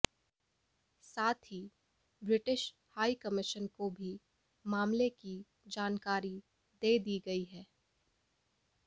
साथ ही British High Commission को भी मामले की जानकारी दे दी गई है